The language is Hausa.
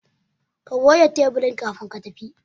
Ka goge taburin kafin ka tafi